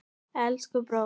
Elsku bróðir!